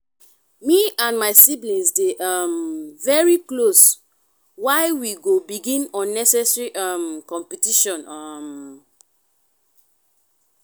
me and my siblings dey um very close why we go begin unnecessary um competition? um